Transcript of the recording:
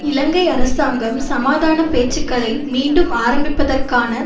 இலங்கை அரசாங்கம் சமாதான பேச்சுக்களை மீண்டும் ஆரம்பிப்பதற்கான